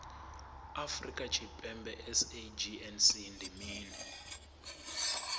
afrika tshipembe sagnc ndi mini